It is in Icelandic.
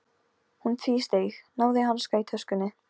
Hún tvísteig, náði í hanska í töskunni.